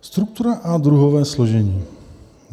Struktura a druhové složení.